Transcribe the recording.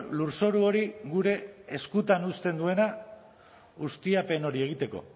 lurzoru hori gure eskutan uzten duena ustiapen hori egiteko